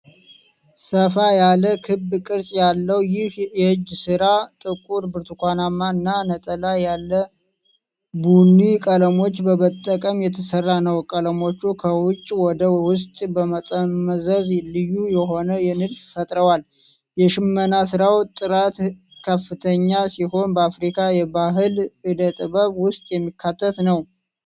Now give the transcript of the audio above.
ሰፋ ያለ ክብ ቅርጽ ያለው ይህ የእጅ ስራ ጥቁር፣ ብርቱካናማ እና ነጣ ያለ ቡኒ ቀለሞችን በመጠቀም የተሰራ ነው። ቀለሞቹ ከውጭ ወደ ውስጥ በመጠምዘዝ ልዩ የሆነ ንድፍ ፈጥረዋል። የሽመና ስራው ጥራት ከፍተኛ ሲሆን፤ በአፍሪካ የባህል እደ-ጥበብ ውስጥ የሚካተት ነው።